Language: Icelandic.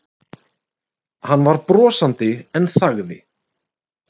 Hann var brosandi en þagði.